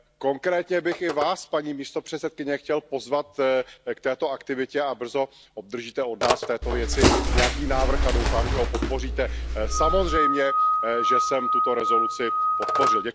Konkrétně bych i Vás paní místopředsedkyně chtěl pozvat k této aktivitě a brzy obdržíte od nás v této věci nějaký návrh a doufám, že ho podpoříte. Samozřejmě, že jsem tuto rezoluci podpořil.